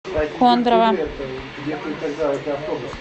кондрово